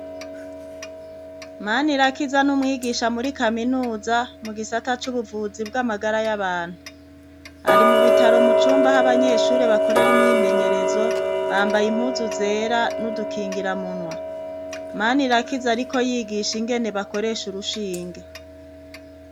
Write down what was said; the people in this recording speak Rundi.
Manirakiza ni umwigisha muri kaminuza mu gisata c'ubuvuzi bw'amagara y'abantu. Ari mu bitaro mu cumba, aho abanyeshure bakorera imyimenyerezo, bambaye impuzu zera n'udukingiramunwa. Manirakiza ariko yigisha ingene bakoresha urushinge.